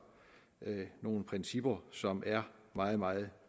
nogle principper som er meget meget